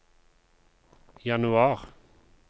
januar